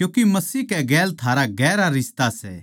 क्यूँके मसीह कै गेल थारा गहरा रिश्ता सै